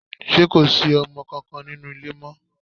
Ṣé kò sí ọmọ kankan nínú ilé mọ́?